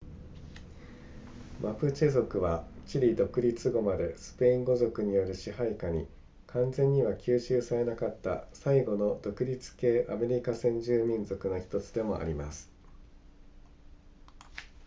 マプチェ族はチリ独立後までスペイン語族による支配下に完全には吸収されなかった最後の独立系アメリカ先住民族の1つでもあります